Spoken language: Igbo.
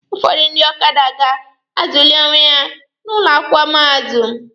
Ụfọdụ ndị ọkada ga-azụlị onwe ha n'ụlọ akwụkwọ mahadum.